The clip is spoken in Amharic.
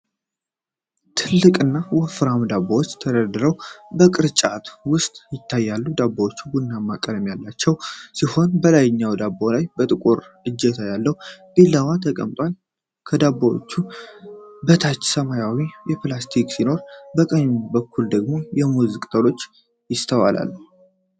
ትልቅና ወፍራም ዳቦዎች ተደራርበው በቅርጫት ውስጥ ይታያሉ። ዳቦዎቹ ቡናማ ቀለም ያላቸው ሲሆን ከላይኛው ዳቦ ላይ ጥቁር እጀታ ያለው ቢላዋ ተቀምጧል። ከዳቦዎቹ በታች ሰማያዊ ፕላስቲክ ሲኖር በቀኝ በኩል ደግሞ የሙዝ ቅጠል ይስተዋላል።